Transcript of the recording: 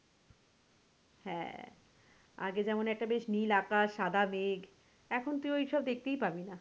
হ্যাঁ আগে যেমন একটা বেশ নীল আকাশ সাদা মেঘ এখন তুই ওইসব দেখতেই পাবি না।